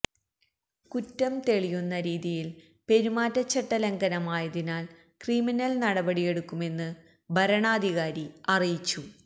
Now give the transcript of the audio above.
കുറ്റം തെളിയുന്ന രീതിയില് പെരുമാറ്റചട്ട ലംഘനമായതിനാല് ക്രിമിനല് നടപടിയെടുക്കുമെന്ന് വരണാധികാരി അറിയിച്ചു